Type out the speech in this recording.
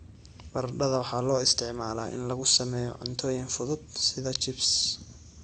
Baradhada waxaa loo isticmaalaa in lagu sameeyo cuntooyin fudud sida chips.